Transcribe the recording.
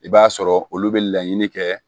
I b'a sɔrɔ olu bɛ laɲini kɛ